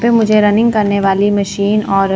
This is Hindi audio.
पे मुझे रनिंग करने वाली मशीन और--